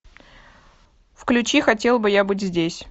включи хотел бы я быть здесь